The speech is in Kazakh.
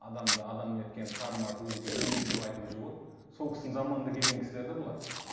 адамды адам еткен карл маркс өзінше еңбек деп айтып жүр ғой сол кісінің заманында келген кісілер де бұлар